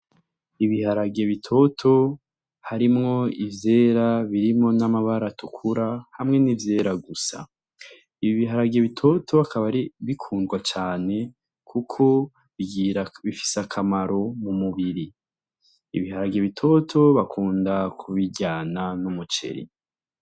N'ibiharage bitoto harimwo ivyera birimwo n'amabara atukura ,hamwe n'ivyera gusa. Ibiharage bitoto bikaba bikundwa cane, kuko bifise akamaro m'umubiri. Ibiharage bitoto bakunda kubiryana n'umuceri.